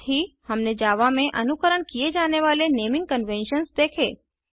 साथ ही हमने जावा में अनुकरण किए जाने वाले नेमिंग कन्वेन्शन्स देखें